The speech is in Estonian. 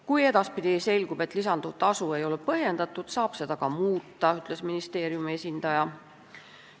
Kui edaspidi selgub, et lisanduv tasu ei olnud põhjendatud, saab seda ka muuta, ütles ministeeriumi esindaja.